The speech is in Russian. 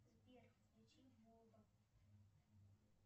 сбер включи бубу